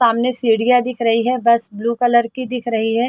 सामने सीढ़ियां दिख रही है बस ब्लू कलर की दिख रही है।